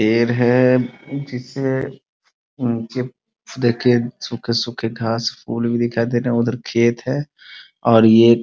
पेड़ है जिसे जीप दे के सूखे-सूखे घास-फूल भी दिखाए दे रहे हैं उधर खेत हैं और ये --